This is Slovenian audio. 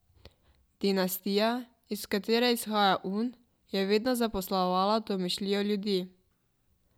Dinastija, iz katere izhaja Un, je vedno zaposlovala domišljijo ljudi.